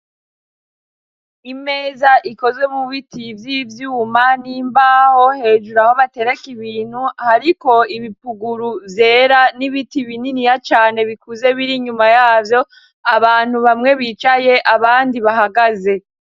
Imeza ikozwe mu biti vy'ibyuma n'imbaho hejuru. Aho batereka ibintu hariko ibipuguru zera n'ibiti bininiya cane bikuze biri nyuma yavyo abantu bamwe bicaye abandi bahagaze.